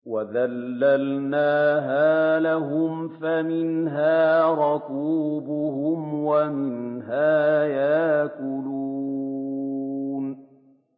وَذَلَّلْنَاهَا لَهُمْ فَمِنْهَا رَكُوبُهُمْ وَمِنْهَا يَأْكُلُونَ